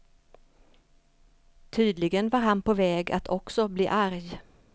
Tydligen var han på väg att också bli arg.